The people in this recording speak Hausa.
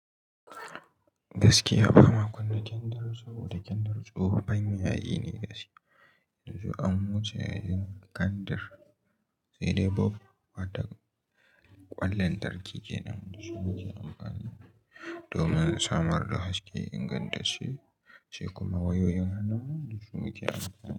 Gaskiya ba na kunna kendir sau da kendir tsohon yayi ne gaskiya. Yanzu an wuce yayin kendir, sai dai bulb wa to ƙwan lantarki kenan. Da su mu ke amfani domin samar da haske ingantacce sai kuma wayoyin hannuwa du su muke amfani da su.